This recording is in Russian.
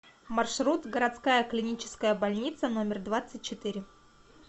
маршрут городская клиническая больница номер двадцать четыре